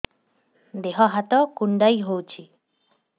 ଦେହ ହାତ କୁଣ୍ଡାଇ ହଉଛି